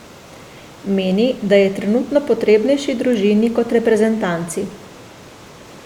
Meni, da je trenutno potrebnejši družini kot reprezentanci.